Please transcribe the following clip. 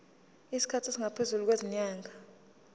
isikhathi esingaphezulu kwezinyanga